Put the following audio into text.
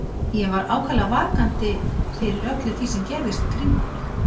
Ég var ákaflega vakandi fyrir öllu því sem gerðist í kringum mig.